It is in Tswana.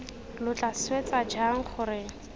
lo tla swetsa jang gore